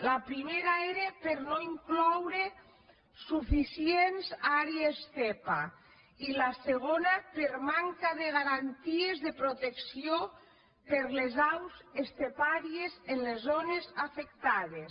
la primera era per no incloure suficients àrees zepa i la segona per manca de garanties de protecció per a les aus estepàries en les zones afectades